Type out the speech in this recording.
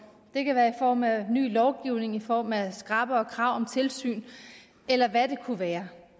det kan være i form af ny lovgivning i form af skrappere krav om tilsyn eller hvad det kunne være